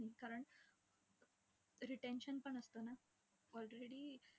कारण retention येईल.